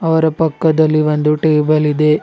ಅವರ ಪಕ್ಕದಲ್ಲಿ ಒಂದು ಟೇಬಲ್ ಇದೆ.